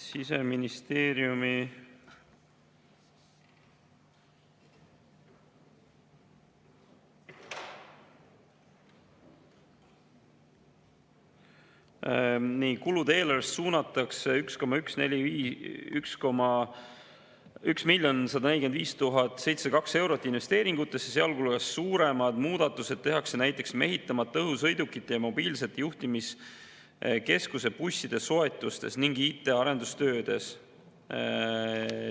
Siseministeeriumi kulude eelarvest suunatakse 1 145 702 eurot investeeringutesse, sealhulgas suuremad muudatused tehakse näiteks mehitamata õhusõidukite ja mobiilsete juhtimiskeskuse busside soetustes ning IT arendustöödes.